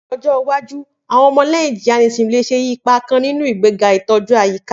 Ni ọjọ iwaju, awọn ọmọlẹhin Jainism le ṣe ipa kan ninu igbega itoju ayika.